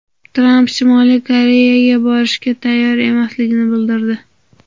Tramp Shimoliy Koreyaga borishga tayyor emasligini bildirdi.